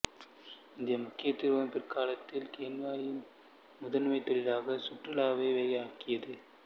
இந்த முக்கியத்துவம் பிற்காலத்தில் கென்யாவின் முதன்மை தொழிலாக சுற்றுலாவை ஆக்கியது